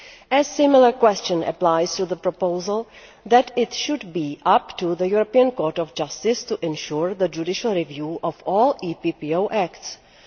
A similar question applies to the proposal that it should be up to the European Court of Justice to ensure the judicial review of all EPPO acts.